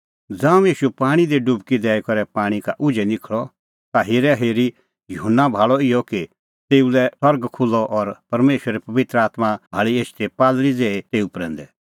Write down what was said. ज़ांऊं ईशू पाणीं दी डुबकी दैई करै पाणीं का उझै निखल़अ ता हेराहेरी युहन्ना भाल़अ इहअ कि तेऊ लै सरग खुल्हअ और परमेशरे पबित्र आत्मां भाल़ी एछदी कबूतरा ज़ेही तेऊ प्रैंदै